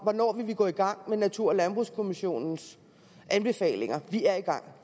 hvornår vi vil gå i gang med natur og landbrugskommissionens anbefalinger vi er i gang